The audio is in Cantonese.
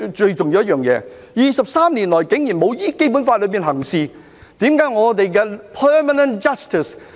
更重要的是 ，23 年來竟然沒有依照《基本法》行事，為何香港的 permanent judges......